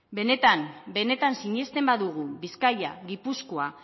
benetan benetan sinesten badugu bizkaia gipuzkoa